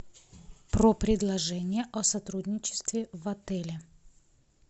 про предложения о сотрудничестве в отеле